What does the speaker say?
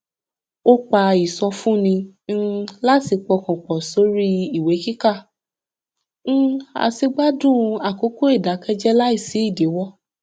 ó pa ìsọfúnni um láti pọkàn pọ sórí ìwé kíkà um àti gbádùn àkókò ìdàkẹjẹ láìsí ìdíwọ